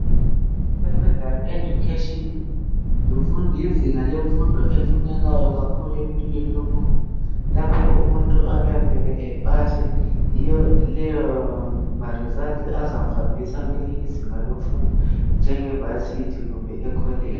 secondary education yimfundo yezinga lemfundo efunekayo kakhulu empilweni yomuntu lapho umuntu okuyamele epase yiyo leyo am results azamhambisa kwelinye izinga lemfundo njenge varsity kumbe e college